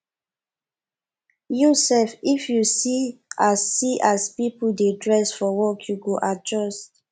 you sef if you see as see as pipo dey dress for work you go adjust